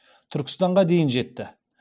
түркістанға дейін жетті